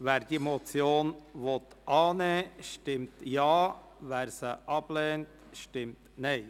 Wer diese Motion annehmen will, stimmt Ja, wer diese ablehnt, stimmt Nein.